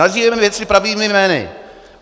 Nazývejme věci pravými jmény.